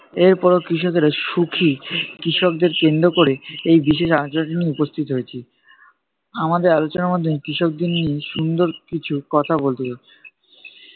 এর পরেও কৃষকেরা সুখী, কৃষকদের কেন্দ্র করে এই বিশেষ আলোচনাটি নিয়ে উপস্থিত হয়েছি। আমাদের আলোচনার মাধ্যমে কৃষকদের নিয়ে সুন্দর কিছু কথা বলতে